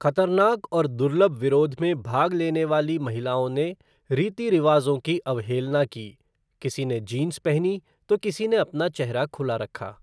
खतरनाक और दुर्लभ विरोध में भाग लेने वाली महिलाओं ने रीति रिवाजों की अवहेलना की, किसी ने जींस पहनी तो किसी ने अपना चेहरा खुला रखा।